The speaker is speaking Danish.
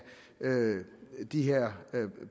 de her